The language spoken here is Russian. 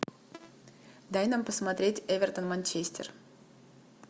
дай нам посмотреть эвертон манчестер